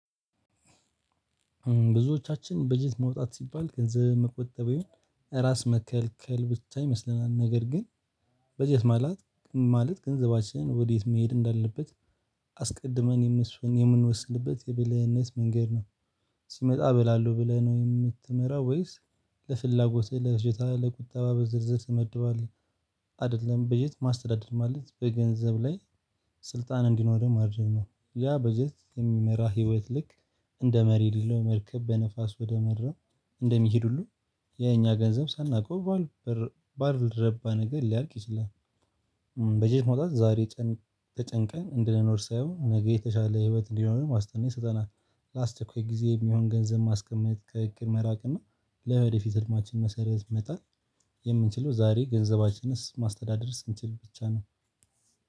ብዙዎቻችን በጀት መውጣት ሲባል ገንዘብ መቆጠብ ይሁን ራስ መከልከል ብቻ ይመስለናል ነገር ግን በጀት ማለት ገንዘባችንን ወዴት መሄድ እንዳለበት አስቀድመን የምንወስንበት የብልህነት መንገድ ነው። ሲመጣ እበላለሁ ብለህ ነው የምትመራው ወይስ ለፍላጎትህ ለፊጆታ ለቁጠባ በዝርዝር ትመድባለህ? አይደለም በጀት ማስተዳደር ማለት በገንዘብ ላይ ስልጣን እንዲኖረን ማድረግ ነው። ያ በጀት የሚመራ ህይወት ልክ እንደ መሪ ልለው መርከብ በነፋስ ወደ መድረም እንደሚሄድ ሁሉ የኛ ገንዘብ ሳናውቀው ባልረባ ነገር ሊያልቅ ይችላል። በጀት መውጣት ዛሬ ተጨንቀን እንድንኖር ሳይሆን ነገ የተሻለ ህይወት እንዲኖረን ዋስትና ይሰጠናል። ለአስቸኳይ ጊዜ የሚሆን ገንዘብ ማስቀመጥ ከእቅድ መራቅ እና ለወደፊት ህልማችን መሰረት መጣል። የምንችለው ዛሬ ገንዘባችንን ማስተዳደር ስንችል ብቻ ነው።